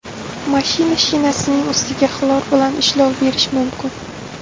Mashina shinasining ustiga xlor bilan ishlov berish mumkin.